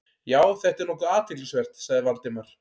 Já, þetta er nokkuð athyglisvert- sagði Valdimar.